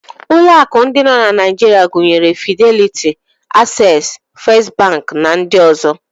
Ụlọ akụ ndị nọ na Naijiria gụnyere Fideliti, Aksesị, Fest bankị, nakwa ndị ọzọ.